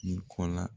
I kɔ la